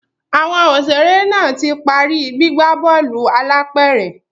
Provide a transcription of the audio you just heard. Àwọn òṣèré náà ti parí gbígbà bóòlù álàpẹ̀rẹ̀